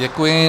Děkuji.